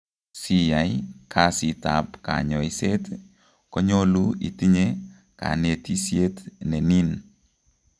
Siyay kasiit ab kanyoiseet konyolu itinye kanetisyet nenin